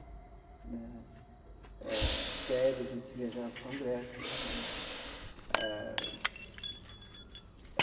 Né eh de férias, a gente viajava para o Congresso né ah.